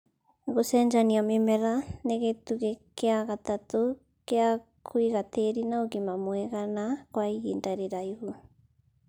gũcenjania mĩmera nĩ gĩtugĩ kia gatatũ gia kwĩiga tĩri na ũgima mwega na kwa ihinda rĩraihu..